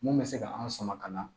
Mun bɛ se ka an sama ka na